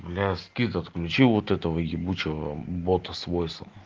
бля скит отключи вот этого ебучего бота с войсом